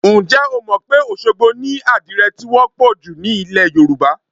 Ǹjẹ́ o mọ̀ pé Òṣogbo ni àdìrẹ ti wọ́ pọ̀ jù ní ilẹ̀ Yorùbá?